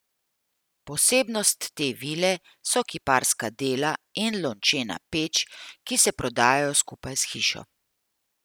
Posebnost te vile so kiparska dela in lončena peč, ki se prodajajo skupaj s hišo.